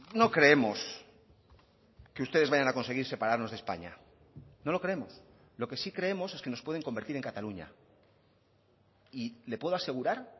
no creemos que ustedes vayan a conseguir separarnos de españa no lo creemos lo que sí creemos es que nos pueden convertir en cataluña y le puedo asegurar